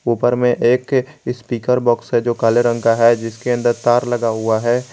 उपर में एक स्पीकर बाक्स है जो काले रंग है जिसके अन्दर तार लगा हुआ है।